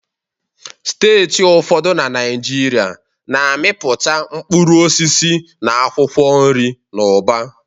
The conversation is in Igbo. Steeti ụfọdụ na Naịjirịa na-amịpụta mkpụrụ osisi na akwụkwọ nri n'ụba